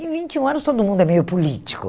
Em vinte e um anos, todo mundo é meio político.